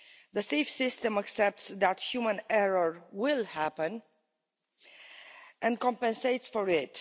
The Safe System accepts that human error will happen and compensates for